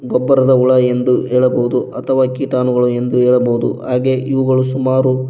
ಗೊಬ್ಬರದ ಹುಳ ಎಂದು ಹೇಳಬಹುದು ಅಥವಾ ಕೀಟಾಣುಗಳು ಎಂದು ಹೇಳಬಹುದು ಹಾಗೆ ಇವುಗಳು ಸುಮಾರು--